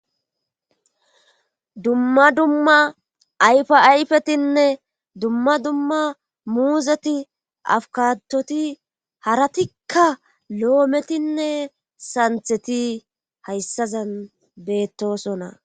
Dumma dumma ayfa ayfetinne dumma dumma muuzeti afukatoti haratikka loometinne santheti hayssazan beettosona.